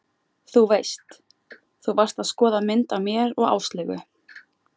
Þú veist. þú varst að skoða mynd af mér og Áslaugu.